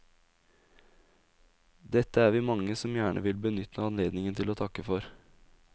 Dette er vi mange som gjerne vil benytte anledningen til å takke for.